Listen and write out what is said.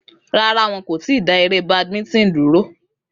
Rárá, wọn kò tí ì dá eré badminton dúró.